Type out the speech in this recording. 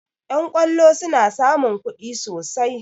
Yan kollo suna samun kuɗi sosai